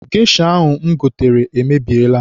Gesha ahụ m gotere emebiela.